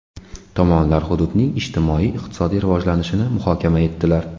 Tomonlar hududning ijtimoiy-iqtisodiy rivojlanishini muhokama etdilar.